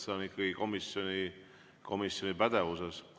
See on ikkagi komisjoni pädevuses.